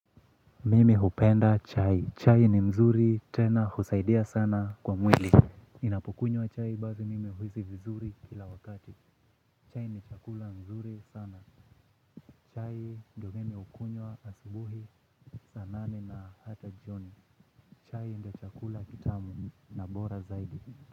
Mimi hupenda chai. Chai ni nzuri tena husaidia sana kwa mwili. Ninapokunywa chai basi mimi huhisi vizuri kila wakati. Chai ni chakula mzuri sana. Chai ndio mimi hukunywa asubuhi, saa nane na hata jioni. Chai ndio chakula kitamu na bora zaidi.